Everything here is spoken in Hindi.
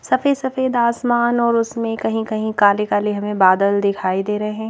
सफेद सफेद आसमान और उसमें कहीं कहीं काले काले हमें बादल दिखाई दे रहे--